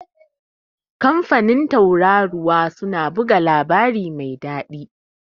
kamfanin Tauraruwa suna buga labari mai dadi